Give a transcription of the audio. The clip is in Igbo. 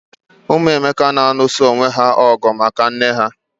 Ụmụ Emeka na alụso onwé ha ọgụ maka nné ha